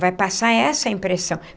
Vai passar essa impressão.